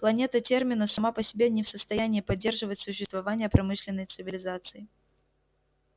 планета терминус сама по себе не в состоянии поддерживать существование промышленной цивилизации